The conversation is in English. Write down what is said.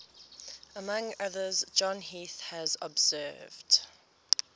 among others john heath has observed